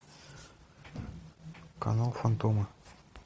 канал фантомы